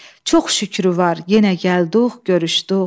Çox şükrü var yenə gəldik, görüşdük.